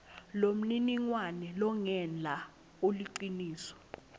lomniningwane longenla uliciniso